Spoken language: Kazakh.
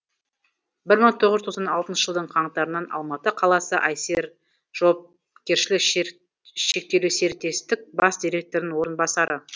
бір мың тоғыз жүз тоқсан тоғынызыншы жылдың қаңтарынан алматы қаласы айсер жауапкершілігі шектелі серіктестік бас директорының орынбасары